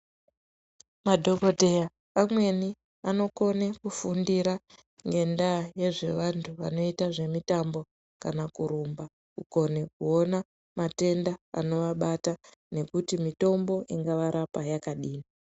Madhokodheya amweni anokone kufundira ngendaa yezvevantu vanoita zvemitambo kana kurumba, kukone kuona matenda anovabata nekuti mitombo ingavarapa yakadini.